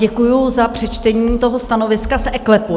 Děkuji za přečtení toho stanoviska z eKLEPu.